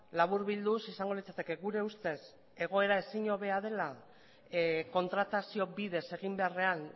laburbilduz izango litzateke gure ustez egoera ezin hobea dela kontratazio bidez egin beharrean